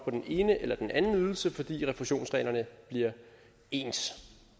på den ene eller den anden ydelse fordi refusionsreglerne bliver ens